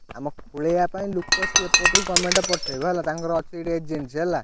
ଆମ ଖୋଲିବା ପାଇଁ ଲୁକ ସିଏ ଏପଟୁ government ପଠେଇବ ହେଲା ତାଙ୍କର ଅଛି ଗୋଟେ agency ହେଲା।